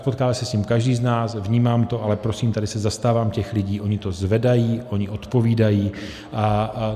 Potkává se s tím každý z nás, vnímám to, ale prosím, tady se zastávám těch lidí, oni to zvedají, oni odpovídají.